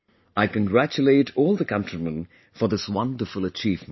I congratulate all the countrymen for this wonderful achievement